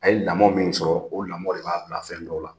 A ye lamɔn min sɔrɔ, o lamɔn de b'a bila fɛn dɔw la.